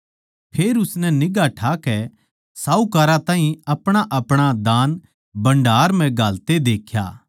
फेर उसनै निगांह ठाकै सहूकारां ताहीं अपणाअपणा दान भण्डार म्ह घालदे देख्या